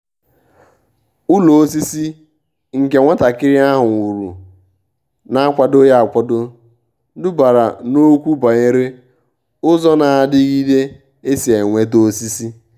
ụ́lọ́ ósísí nke nwàtàkị́rị́ áhụ́ wùrù nà-ákwàdòghị́ ákwádò dùbàrà n’ókwù bànyéré ụ́zọ́ nà-àdị́gídé ésí é nwétà ósísí.